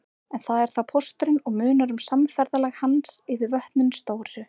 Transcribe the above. En það er þá pósturinn og munar um samferðalag hans yfir vötnin stóru.